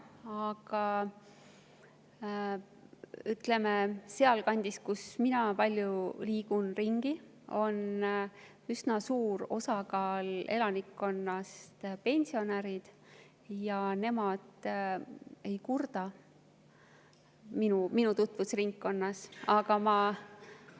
Aga sealkandis, kus mina palju ringi liigun, on üsna suur osa elanikkonnast pensionärid ja nemad ei kurda, minu tutvusringkonda.